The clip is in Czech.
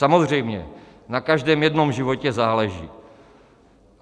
Samozřejmě na každém jednom životě záleží.